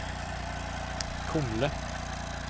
Kumle